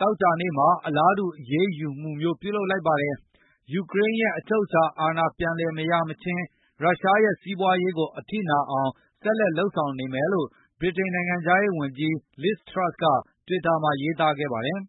သောကြာနေ့က အလားတူအရေးယူမှုမျိုး လုပ်လိုက်ပါတယ်။ ယူကရိန်းရဲ့ အချုပ်အခြာအာဏာပြန်လည် မရရှိမချင်း ၊ ရုရှားရဲ့စီးပွားရေးကို အထိနာအောင် ဆက်လက်လုပ်ဆောင်နေမယ်လို့ ဗြိတိန်နိုင်ငံခြားရေးဝန်ကြီး Liz Truss ကတွစ်တာမှာရေးသားခဲ့ပါတယ်